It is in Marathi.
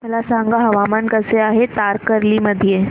मला सांगा हवामान कसे आहे तारकर्ली मध्ये